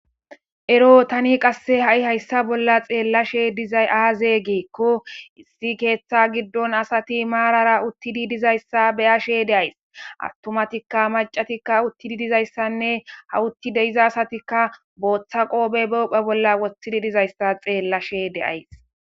Ero tani qasse ha'i hayssa bolla xeellashe dizay aaze geekko issi keeththa giddon asati maarara uttidi dizayssa beyashe deays attomatikka macatikka uttidi dizayssanne ha utti deiza asatikka booththa qoobe bophe bolla wothidi dizayssa xeellashe deays.